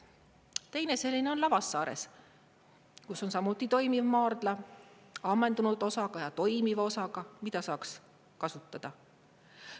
Teine selline on Lavassaares, kus on samuti toimiv maardla ammendunud osaga ja toimiva osaga, mida saaks kasutada.